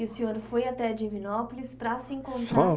E o senhor foi até Divinópolis para se encontrar Só